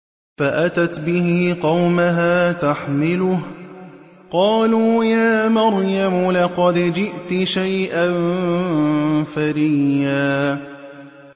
فَأَتَتْ بِهِ قَوْمَهَا تَحْمِلُهُ ۖ قَالُوا يَا مَرْيَمُ لَقَدْ جِئْتِ شَيْئًا فَرِيًّا